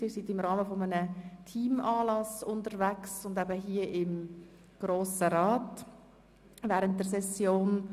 Sie sind im Rahmen eines Teamanlasses unterwegs und besuchen den bernischen Grossen Rat während der Session.